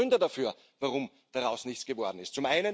Und es gibt Gründe dafür, warum daraus nichts geworden ist.